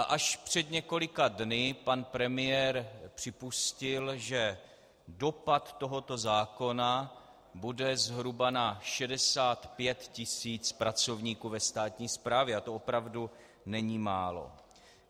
A až před několika dny pan premiér připustil, že dopad tohoto zákona bude zhruba na 65 tisíc pracovníků ve státní správě, a to opravdu není málo.